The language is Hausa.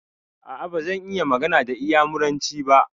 A'a, bazan iya magana da inyamuranci ba.